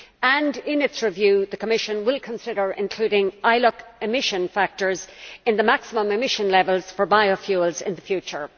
and in its review the Commission will consider including ILUC emission factors in the maximum emission levels for biofuels in the future.